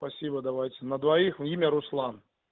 спасибо давайте на двоих имя руслан